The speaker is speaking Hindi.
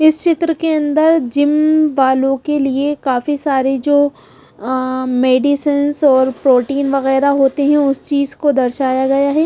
इस चित्र के अंदर जिम वालों के लिए काफी सारी जो मेडिसनस और प्रोटीन वगैरह होते हैं उस चीज को दर्शाया गया है।